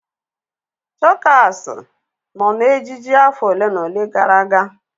Chokas nọ na ejiji afọ ole na ole gara aga.